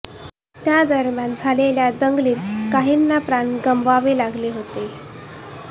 त्या दरम्यान झालेल्या दंगलीत काहींना प्राण गमवावे लागले होते